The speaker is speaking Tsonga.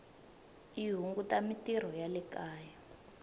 yi hunguta mintirho ya le kaya